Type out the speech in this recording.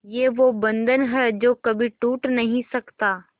ये वो बंधन है जो कभी टूट नही सकता